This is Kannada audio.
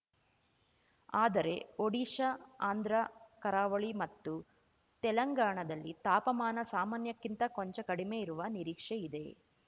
ಆದರೆ ಓಡಿಶಾ ಆಂಧ್ರ ಕರಾವಳಿ ಮತ್ತು ತೆಲಂಗಾಣದಲ್ಲಿ ತಾಪಮಾನ ಸಾಮಾನ್ಯಕ್ಕಿಂತ ಕೊಂಚ ಕಡಿಮೆ ಇರುವ ನಿರೀಕ್ಷೆ ಇದೆ